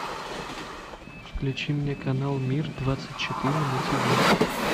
включи мне канал мир двадцать четыре на тиви